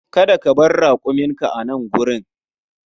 Kada ka bar rakuminka a nan wurin!